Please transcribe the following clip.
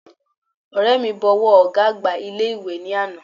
Ọ̀rẹ́ mi bọ ọwọ́ ọ̀gá àgbà ilé ìwé ní àná